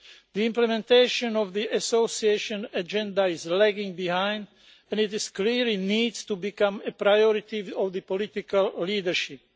The implementation of the Association Agenda is lagging behind and it is clear that it needs to become a priority of the political leadership.